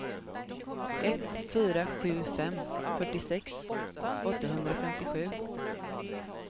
ett fyra sju fem fyrtiosex åttahundrafemtiosju